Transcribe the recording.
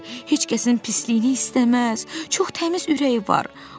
Heç kəsin pisliyini istəməz, çox təmiz ürəyi var.